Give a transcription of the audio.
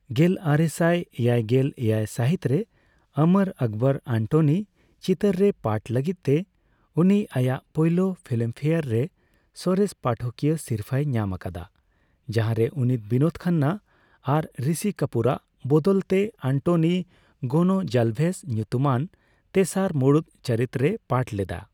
ᱜᱮᱞᱟᱨᱮᱥᱟᱭ ᱮᱭᱟᱭᱜᱮᱞ ᱮᱭᱟᱭ ᱥᱟᱦᱤᱛ ᱨᱮ 'ᱚᱢᱚᱨ ᱟᱠᱵᱚᱨ ᱟᱱᱴᱚᱱᱤ' ᱪᱤᱛᱟᱹᱨ ᱨᱮ ᱯᱟᱴᱷ ᱞᱟᱜᱤᱫ ᱛᱮ ᱩᱱᱤ ᱟᱭᱟᱜ ᱯᱚᱭᱞᱳ ᱯᱷᱤᱞᱢᱯᱷᱮᱭᱟᱨ ᱨᱮ ᱥᱚᱨᱮᱥ ᱯᱟᱴᱷᱚᱠᱤᱭᱟᱹ ᱥᱤᱨᱯᱟᱹᱭ ᱧᱟᱢ ᱟᱠᱟᱫᱟ, ᱡᱟᱦᱟᱨᱮ ᱩᱱᱤ ᱵᱤᱱᱳᱫ ᱠᱷᱟᱱᱱᱟ ᱟᱨ ᱨᱤᱥᱤ ᱠᱟᱯᱩᱨᱟᱜ ᱵᱟᱫᱟᱞ ᱛᱮ ᱟᱱᱴᱚᱱᱤ ᱜᱚᱱᱚᱡᱟᱞᱵᱷᱮᱥ ᱧᱩᱛᱩᱢᱟᱱ ᱛᱮᱥᱟᱨ ᱢᱩᱲᱩᱛ ᱪᱚᱨᱤᱛ ᱨᱮᱭ ᱯᱟᱴᱷ ᱞᱮᱫᱟ ᱾